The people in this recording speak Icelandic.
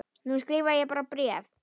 Nú skrifa ég bara bréf!